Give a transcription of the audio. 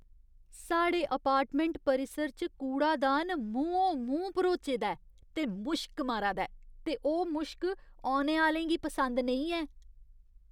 साढ़े अपार्टमैंट परिसर च कूड़ादान मूंहों मूंह् भरोचे दा ऐ ते मुश्क मारा दा ऐ ते ओह् मुश्क औने आह्‌लें गी पसंद नेईं ऐ।